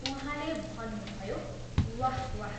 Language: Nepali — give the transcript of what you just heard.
उहाँले भन्नुभयो, वाह वाह!